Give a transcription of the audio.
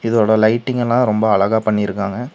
இதோட லைட்டிங்கெல்லா ரொம்ப அழகா பண்ணிருக்காங்க.